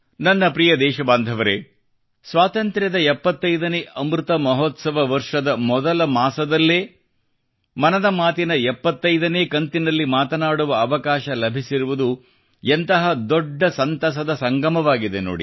ನನ್ನ ಪ್ರಿಯದೇಶಬಾಂಧವರೆ ಸ್ವಾತಂತ್ರ್ಯದ 75 ನೇ ಅಮೃತ ಮಹೋತ್ಸವ ವರ್ಷದ ಮೊದಲ ಮಾಸದಲ್ಲೇ ಮನದ ಮಾತಿನ 75 ನೇ ಕಂತಿನಲ್ಲಿ ಮಾತನಾಡುವ ಅವಕಾಶ ಲಭಿಸಿರುವುದು ಎಂತಹ ದೊಡ್ಡ ಸಂತಸದ ಸಂಗಮವಾಗಿದೆ ನೋಡಿ